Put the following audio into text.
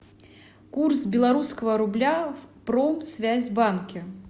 курс белорусского рубля в промсвязьбанке